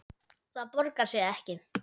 Það borgar sig ekki